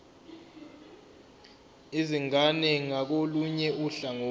izingane ngakolunye uhlangothi